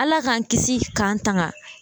Ala k'an kisi k'an tanga.